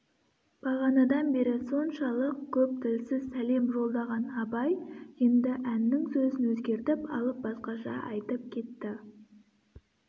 бағанадан бері соншалық көп тілсіз сәлем жолдаған абай енді әннің сөзін өзгертіп алып басқаша айтып кетті